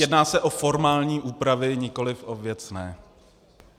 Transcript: Jedná se o formální úpravy, nikoliv o věcné.